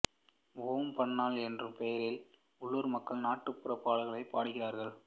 ஓம் பன்னா என்ற பெயரில் உள்ளூர் மக்கள் நாட்டுப்புறப் பாடல்களைப் பாடுகிறார்கள்